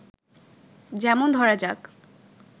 যেমন ধরা যাক